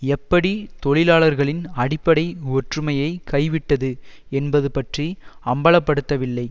எப்படி தொழிலாளர்களின் அடிப்படை ஒற்றுமையை கைவிட்டது என்பது பற்றி அம்பலப்படுத்தவில்லை